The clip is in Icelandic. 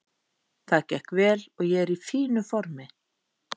Það gekk vel og ég er í fínu formi.